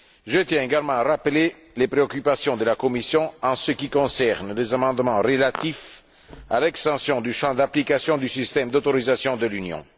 Je tiens également à rappeler les préoccupations de la Commission en ce qui concerne les amendements relatifs à l'extension du champ d'application du système d'autorisation de l'Union.